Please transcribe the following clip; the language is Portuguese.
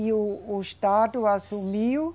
E o, o Estado assumiu